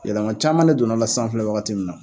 Yɛlɛman caaman ne donna la sisan an filɛ wagati min na